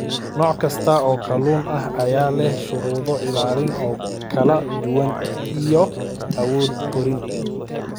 Nooc kasta oo kalluun ah ayaa leh shuruudo ilaalin oo kala duwan iyo awood korriin.